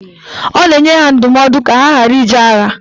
Ọ na-enye ha ndụmọdụ ka ha ghara ije agha.